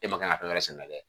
E ma kan ka fɛn wɛrɛ sɛnɛ kɛ